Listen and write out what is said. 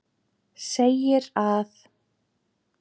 segir að